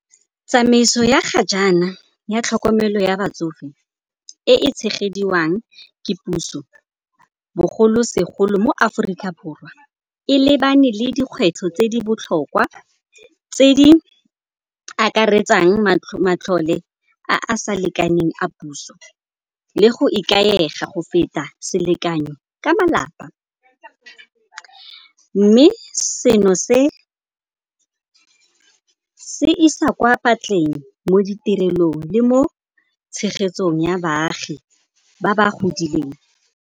Tsamaiso ya ga jana ya tlhokomelo ya batsofe e tshegediwang ke puso bogolosegolo mo Aforika Borwa, e lebane le dikgwetlho tse di botlhokwa tse di akaretsang matlole a a sa lekaneng a puso le go ikaega go feta selekanyo ka malapa. Mme se no se isa kwa phatleng mo ditirelong le mo tshegetsong ya baagi ba ba godileng.